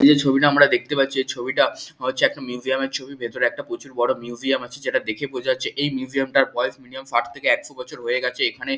এই যে ছবিটা আমরা দেখতে পাচ্ছি এই ছবিটা হচ্ছে মিউজিয়াম এর ছবি ভেতরে একটা প্রচুর বড় মিউজিয়াম আছে যেটা দেখে বোঝা যাচ্ছে এই মিউজিয়াম টার বয়স মিনিমাম ষাট থেকে একশো বছর এখানে ।